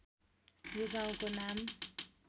यो गाउँको नाम